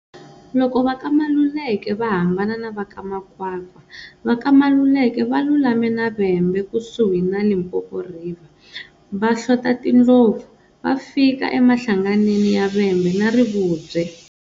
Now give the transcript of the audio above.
Loko va ka Maluleke va hambana na va ka Makwakwa, va ka Maluleke va lulame na Vhembe kusuhi na Limpopo River, va hlota tindlopfu, va fika amahlanganeni ya Vhembe na Rivubye.